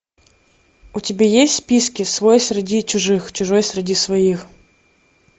у тебя есть в списке свой среди чужих чужой среди своих